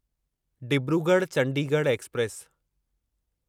Dibrugarh Chandigarh express